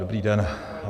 Dobrý den.